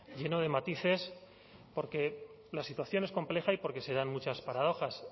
lleno de matices porque la situación es compleja y porque se dan muchas paradojas